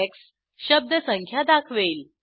x शब्द संख्या दाखवेल